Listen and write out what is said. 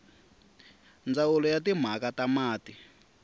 ndzawulo ya timhaka ta mati